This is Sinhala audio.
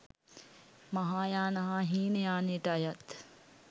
මහායාන හා හීනයානයට අයත්